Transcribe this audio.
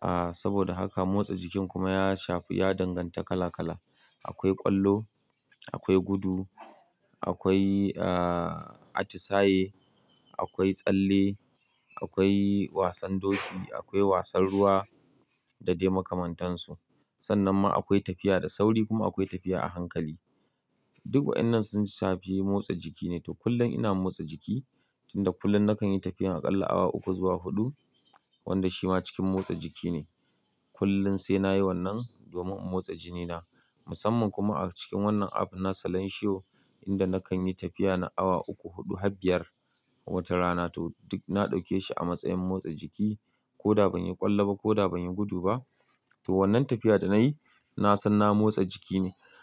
Ah, saboda haka motsa jiki kuma ya shafi, ya danganta kala kala. Akwai ƙwallo, akwai gudu, akwai, ah, atisaye, akwai tsalle, akwai wasan doki, akwai wasan ruwa da dai makamantansu. Sannan kuma akwai tafiya da sauri kuma akwai tafiya a hankali. Duk waɗannan sun shafi motsa jiki ne. To kullum ina motsa jiki, tunda kullum nakan yi tafiya aƙalla awa uku zuwa huɗu, wanda shi ma cikin motsa jiki ne. Kullum sai nayi wannan domin in motsa jinina. Musamman kuma a cikin wannan app na Salanshiyo, inda nakan yi tafiya na awa uku, huɗu, habbiyar, watar rana. To duk na ɗauke shi a matsayin motsa jiki. Ko da ban yi ƙwallo ba, ko da ban yi gudu ba. To wannan tafiya da nayi nasan na motsa jiki ne.